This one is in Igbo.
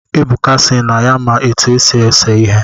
Ebuka sị na ya-ma etu esi ese ihe